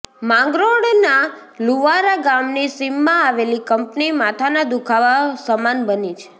માંગરોળના લુવારા ગામની સીમમા આવેલી કંપની માથાના દુઃખાવા સમાન બની છે